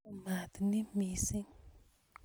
Oo maat ni missing'